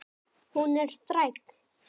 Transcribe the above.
Hún er þræll.